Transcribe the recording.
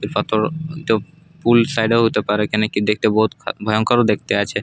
এই পাথর এটো পুল সাইড -এ ও হতে পারে কেনোকি দেখতে বহত ভয়ঙ্কর দেখতে আছে।